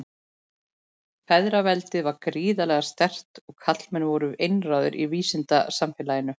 Feðraveldið var gríðarlega sterkt og karlmenn voru einráðir í vísindasamfélaginu.